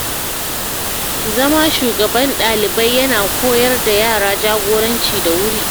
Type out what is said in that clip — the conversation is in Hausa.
Zama shugaban ɗalibai ya na koyar da yara jagoranci da wuri.